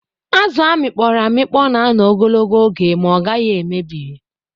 Azụ a mịkpọrọ amịkpọ na-anọ ogologo oge ma ọ gaghị emebi.